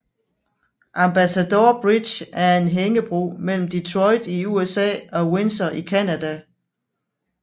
Ambassador Bridge er en hængebro mellem Detroit i USA og Windsor i Canada